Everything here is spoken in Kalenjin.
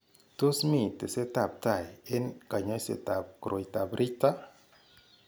Tos mi tesetab tai eng' kanyoisetab koroitoab Richter?